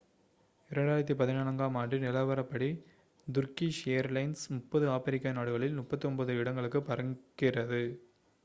2014 ஆம் ஆண்டு நிலவரப்படி turkish ஏர்லைன்ஸ் 30 ஆப்பிரிக்க நாடுகளில் 39 இடங்களுக்கு பறக்கிறது